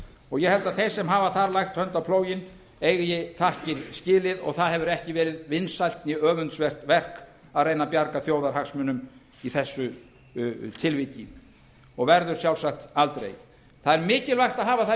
og ég held að þeir sem hafa þar lagt hönd á plóginn eigi þakkir skilið og það hefur ekki verið vinsælt né öfundsvert verk að reyna að bjarga þjóðarhagsmunum í þessu tilviki og verður sjálfsagt aldrei það er mikilvægt að hafa það í